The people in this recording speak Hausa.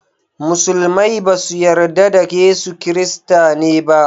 Musulmai ba su yarda da Yesu Kirista ne ba